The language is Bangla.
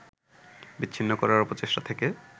বিচ্ছিন্ন করার অপচেষ্টা থেকে